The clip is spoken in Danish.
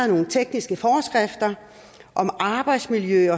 nogle tekniske foreskrifter om arbejdsmiljø